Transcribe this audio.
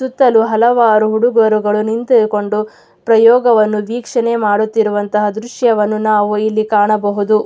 ಸುತ್ತಲೂ ಹಲವಾರು ಹುಡುಗರುಗಳು ನಿಂತುಕೊಂಡು ಪ್ರಯೋಗವನ್ನು ವೀಕ್ಷಣೆ ಮಾಡುವಂಥ ದೃಶ್ಯವನ್ನು ನಾವು ಕಾಣಬಹುದು.